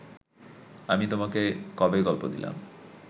আমি তোমাকে কবে গল্প দিলাম